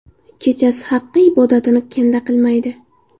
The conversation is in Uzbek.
Kechasi Haqqa ibodatini kanda qilmaydi.